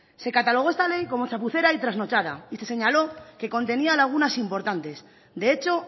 se catalogó esta ley como chapucera y trasnochada y se señaló que contenía lagunas importantes de hecho